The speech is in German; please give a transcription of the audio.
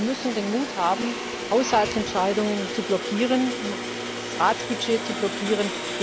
Wir müssen den Mut haben, Haushaltsentscheidungen zu blockieren, das Ratsbudget zu blockieren.